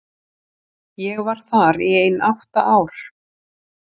Ég var þar í ein átta ár.